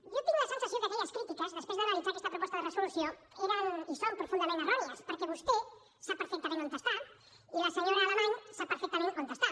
jo tinc la sensació que aquelles crítiques després d’analitzar aquesta proposta de resolució eren i són profundament errònies perquè vostè sap perfectament on està i la senyora alamany sap perfectament on està